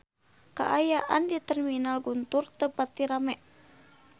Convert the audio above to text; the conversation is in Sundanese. Kaayaan di Terminal Guntur teu pati rame